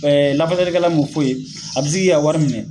Ɛɛ lafasalikɛla mun fo ye, a be se k'i ka wari minɛ.